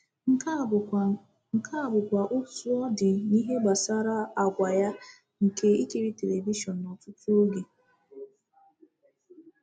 Nke a bụkwa Nke a bụkwa otú ọ dị n’ihe gbasara àgwà ya nke ikiri telivishọn n’ọtụtụ oge.